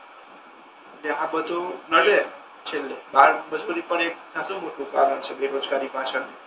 એટલે આ બધુ નડે છેલ્લે બાળમજૂરી પણ એક ખાસુ મોટુ કારણ છે બેરોજગારી પાછળ